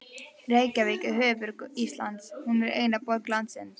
Reykjavík er höfuðborg Íslands. Hún er eina borg landsins.